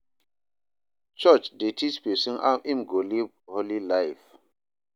Church dey teach pesin how im go live holy life.